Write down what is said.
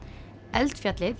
eldfjallið